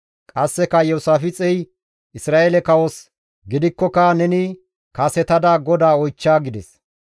Qasseka Iyoosaafixey Isra7eele kawos, «Gidikkoka neni kasetada GODAA oychcha» gides.